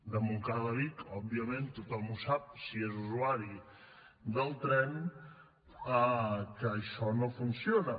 de montcada a vic òbviament tothom ho sap si és usuari del tren que això no funciona